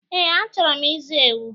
Eé, achọrọ m ịzụ ewu.